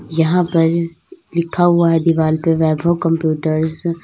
यहां पर लिखा हुआ है दीवाल पे वैभव कंप्यूटर्स ।